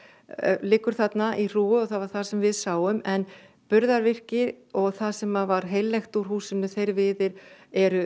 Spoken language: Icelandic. liggur þarna í hrúgu það var það sem við sáum en burðarvirki og það sem var heillegt úr húsinu þeir viðir eru